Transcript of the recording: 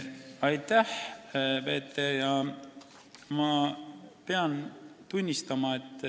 Aitäh!